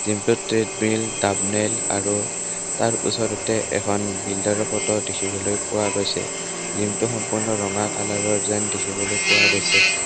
জিমটোত treadmill ডানেল আৰু তাৰ ওচৰতে এখন বিল্ডাৰৰ ফটো দেখিবলৈ পোৱা গৈছে জিমটো সম্পূৰ্ণ ৰঙা কালাৰৰ যেন দেখিবলৈ পোৱা গৈছে।